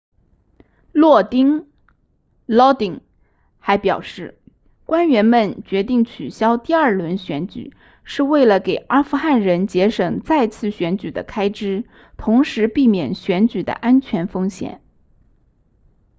洛丁 lodin 还表示官员们决定取消第二轮选举是为了给阿富汗人节省再次选举的开支同时避免选举的安全风险